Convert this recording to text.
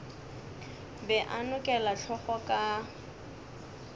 be a nokela hlogo ka